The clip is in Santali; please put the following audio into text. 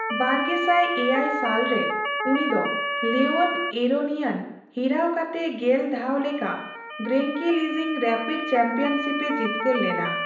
ᱵᱟᱨᱜᱮᱥᱟᱭ ᱮᱭᱟᱭ ᱥᱟᱞ ᱨᱮ, ᱩᱱᱤ ᱫᱚ ᱞᱮᱣᱚᱱ ᱮᱨᱳᱱᱤᱭᱟᱱ ᱦᱤᱨᱟᱹᱣ ᱠᱟᱛᱮ ᱜᱮᱞ ᱫᱷᱟᱣ ᱞᱮᱠᱟ ᱜᱨᱮᱱᱠᱮᱞᱤᱡᱤᱝ ᱨᱮᱯᱤᱰ ᱪᱟᱢᱯᱤᱭᱚᱱᱥᱤᱯᱼᱮ ᱡᱤᱛᱠᱟᱹᱨ ᱞᱮᱱᱟ ᱾